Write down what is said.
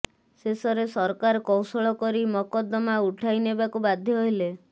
ଶେଷରେ ସରକାର କୌଶଳ କରି ମକଦ୍ଦମା ଉଠାଇ ନେବାକୁ ବାଧ୍ୟ ହେଲେ